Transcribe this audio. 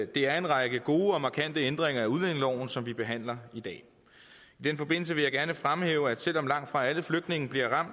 det er en række gode og markante ændringer af udlændingeloven som vi behandler i dag i den forbindelse vil jeg gerne fremhæve at selv om langtfra alle flygtninge bliver